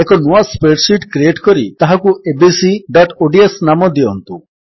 ଏକ ନୂଆ spreadsheet create କରି ତାହାକୁ abcଓଡିଏସ ନାମ ଦିଅନ୍ତୁ